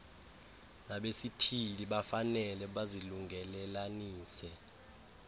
nabesithili bafanele bazilungelelanise